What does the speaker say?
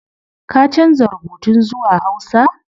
Ka canza rubutun zuwa hausa